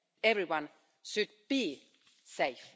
Everyone should be safe.